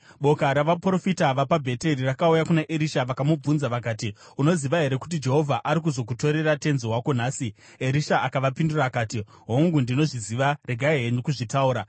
Boka ravaprofita vapaBheteri rakauya kuna Erisha vakamubvunza vakati, “Unoziva here kuti Jehovha ari kuzokutorera tenzi wako nhasi?” Erisha akavapindura akati, “Hongu, ndinozviziva, regai henyu kuzvitaura.”